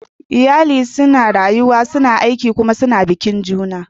Iyali suna rayuwa, suna aiki kuma suna bikin juna.